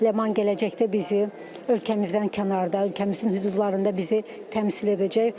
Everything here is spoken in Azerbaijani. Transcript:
Ləman gələcəkdə bizi ölkəmizdən kənarda, ölkəmizin hüdudlarında bizi təmsil edəcək.